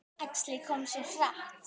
Æxlið kom svo hratt.